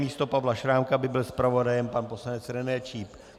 Místo Pavla Šrámka by byl zpravodajem pan poslanec René Číp.